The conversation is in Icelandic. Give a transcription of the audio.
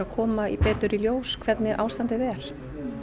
koma betur í ljós hvernig ástandið er